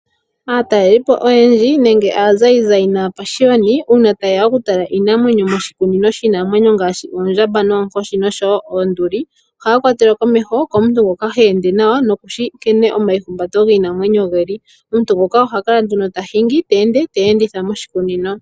Aataleliipo oyendji nenge aazaazayi uuna taye ya okutala iinamwenyo moshikunino shiinamwenyo ngaashi: ondjamba, oonkoshi nosho woo oonduli ohaya kwatelwa komeho komuntu ngoka he ende nawa nokushi nkene omaihumbato giinamwenyo geli nomuntu oye tuu nguka oye ha kala te ya enditha moshikunino.